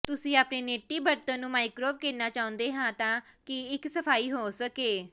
ਤੁਸੀਂ ਆਪਣੇ ਨੇਟੀ ਬਰਤਨ ਨੂੰ ਮਾਈਕ੍ਰੋਵੇਵ ਕਰਨਾ ਚਾਹੁੰਦੇ ਹੋ ਤਾਂ ਕਿ ਇਹ ਸਫਾਈ ਹੋ ਸਕੇ